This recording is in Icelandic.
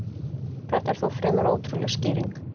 Þetta er þó fremur ótrúleg skýring.